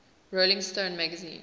rolling stone magazine